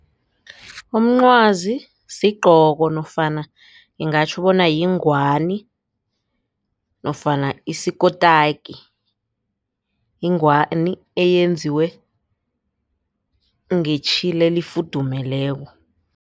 Umncwazi sigcoko nofana ngingatjho bona yingwani nofana isikotaki yingwani eyenziwe ngetjhile lifudumeleko.